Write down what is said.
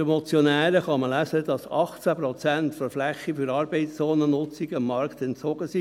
der Motion kann man lesen, dass 18 Prozent der Fläche für Arbeitszonennutzungen dem Markt entzogen seien.